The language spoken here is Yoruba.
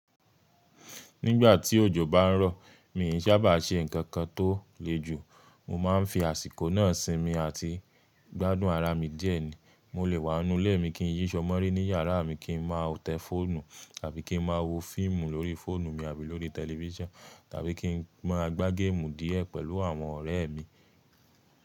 Nígbà tí òjò bá ń rọ̀, mi n sábà ṣe nǹkankan tó le jù. Mo máa ń fi àsìkò náà sinmi àti gbádùn ara mi díẹ̀ ni. Mo lè wà nínú ilé mi kí n yí aṣọ mọ́ orí ní iyàrá mi kín máa tẹ fóònù tàbí kí n máa wo fíìmù lórí fóònù mi tàbí lórí tẹlifíṣọ̀n, tàbí kí n máa gba gamu díẹ̀ pẹ̀lú àwọn ọ̀rẹ́ mi.